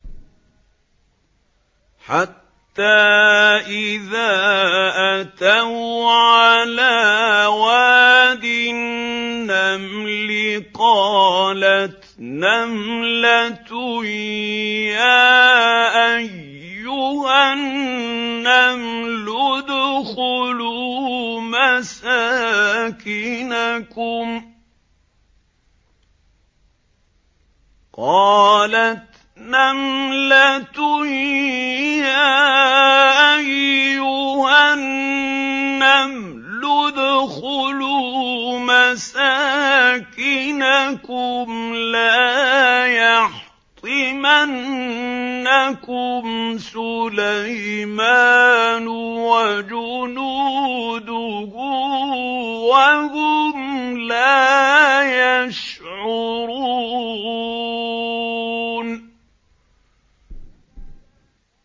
حَتَّىٰ إِذَا أَتَوْا عَلَىٰ وَادِ النَّمْلِ قَالَتْ نَمْلَةٌ يَا أَيُّهَا النَّمْلُ ادْخُلُوا مَسَاكِنَكُمْ لَا يَحْطِمَنَّكُمْ سُلَيْمَانُ وَجُنُودُهُ وَهُمْ لَا يَشْعُرُونَ